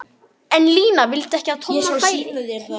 En Lína vildi ekki að Tommi færi.